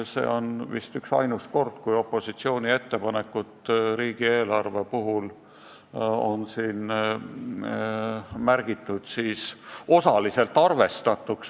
See on vist üksainus kord, kui opositsiooni ettepanekud riigieelarve muutmiseks on märgitud osaliselt arvestatuks.